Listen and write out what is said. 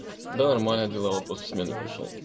да нормально дела вот после смены пришёл